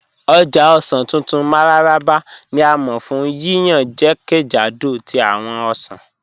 Ọ̀já ọ̀ṣàn tuntun Mararaba ni a mọ fun yíyàn jẹ́kẹ́jàdó tí awọn ọ̀ṣàn